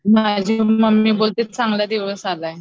माझी मम्मी बोलते चांगला दिवस आलाय.